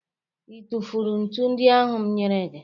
Ị tụfụrụ ntu ndị ahụ m nyere gị